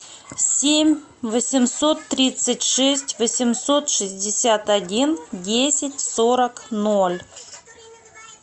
семь восемьсот тридцать шесть восемьсот шестьдесят один десять сорок ноль